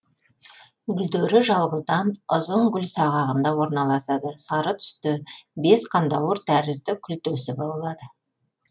гүлдері жалғыздан ұзын гүлсағағында орналасады сары түсті бес қандауыр тәрізді күлтесі болады